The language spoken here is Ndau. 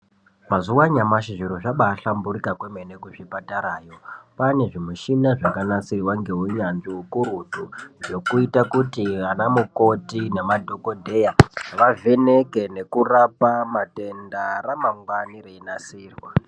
Mazuva anyamashi zviro zvabahlamburuka kwemene kuzvipatarayo kwane zvimushina zvakanasirwa nehunyanzvi kakurutu zvoita kuti ana mukoti nemadhokodheya vavheneke ngekurapa matenda ramangwani reinasirwa.